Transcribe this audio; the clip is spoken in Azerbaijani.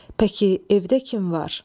Pəki, evdə kim var?